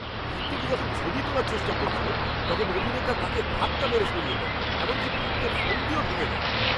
ভক্তটি যখন ছবি তোলার চেষ্টা করছিলেন, তখন অভিনেতা তাঁকে ধাক্কা মেরে সরিয়ে দেন। এমনকি, ভক্তের ফোনটিও ভেঙে দেন।